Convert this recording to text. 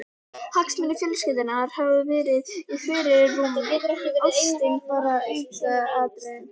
Hagsmunir fjölskyldunnar hafi verið í fyrirrúmi, ástin bara aukaatriði.